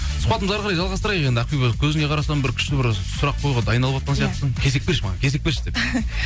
сұхбатымызды әрі қарай жалғастырайық енді ақбибі көзіңе қарасам бір күшті бір сұрақ қоюға дайындалып сияқтысың кезек берші маған кезек берші деп